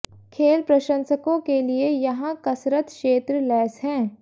खेल प्रशंसकों के लिए यहाँ कसरत क्षेत्र लैस हैं